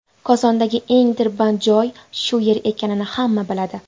Kosondagi eng tirband joy shu yer ekanini hamma biladi.